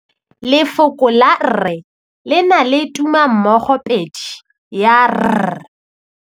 Lefoko la rre, le na le tumammogôpedi ya, r.